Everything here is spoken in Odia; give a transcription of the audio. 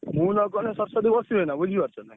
ମୁଁ ନଗଲେ ସରସ୍ବତୀ ବସିବେ ନା ବୁଝିପାରୁଛ ନା?